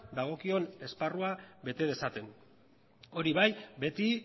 dagokion esparruan bete dezaten hori bai beti